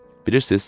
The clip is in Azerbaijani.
Bilirsiz?